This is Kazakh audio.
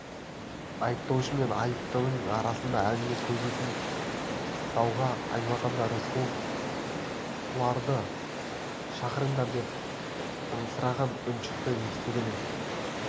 айыптаушы мен айыптының арасында әңгіме өнбейтін дауға айналғанда рысқұлов тұрарды шақырыңдар деп ыңырсыған үн шықты естідіңіз